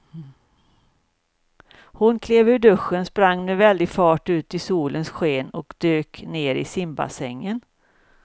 Hon klev ur duschen, sprang med väldig fart ut i solens sken och dök ner i simbassängen.